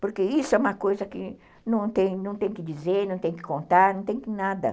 Porque isso é uma coisa que não tem que dizer, não tem que contar, não tem nada.